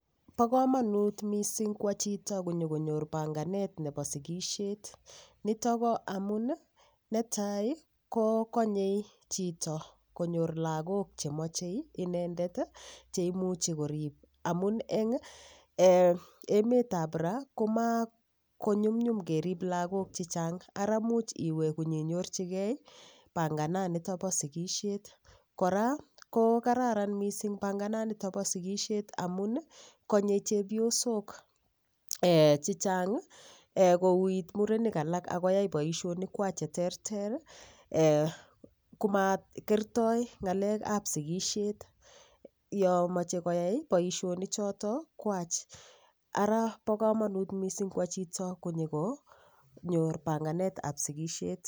Bo komonut mising' kwo chito konyikonyor panganet nebo sikishet nito ko amun netai kokonyei chito konyor lakok chemochei inendet cheimuchi korib amun eng' emetab ra komakonyumyum kerib lakok chechang' ara much iwe konyenyorchigei pangananito bo sikishet kora ko kararan mising' pangananito bo sikishet amun konyei chepyosok chechang' kouit murenik alak akoyai boishonikwach cheterter komakertoi ng'alekab sikishet yo mochei koyai boishonichoto kwach ara bo kamanut mising' kwo chito konyikonyor panganet ab sikishet